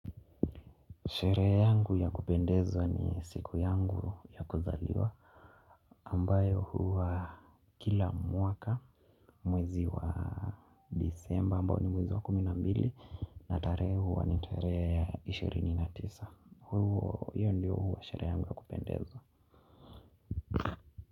Sherehe yangu ya kupendezwa ni siku yangu ya kuzaliwa ambayo huwa kila mwaka mwezi wa Desemba ambayo ni mwezi wa kumi na mbili na tarehe huwa ni tarehe ishirini na tisa. Hio ndio huwa sherehe yangu ya kupendezwa.